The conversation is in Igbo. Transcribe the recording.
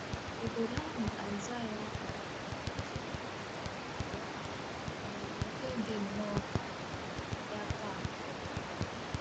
Obodo ahụ Aịsaịa um kpọtụrụ kpọtụrụ aha ò nwere nke dị nnọọ ka um ya taa um?